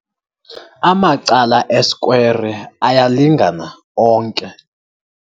Amacala esikwere alyalingana onke.